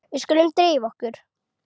Við skulum drífa okkur.